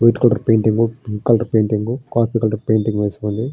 White colour painting pink colour painting coffee colour painting వేసి ఉంది.